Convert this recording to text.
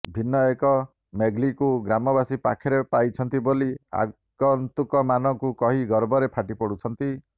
ଭିନ୍ନ ଏକ ମୋଗ୍ଲିକୁ ଗ୍ରାମବାସୀ ପାଖରେ ପାଇଛନ୍ତି ବୋଲି ଆଗନ୍ତୁକମାନଙ୍କୁ କହି ଗର୍ବରେ ଫାଟିପଡୁଛନ୍ତି